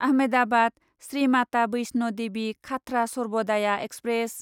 Ahmedabad Shri Mata Vaishno Devi Katra Sarvodaya express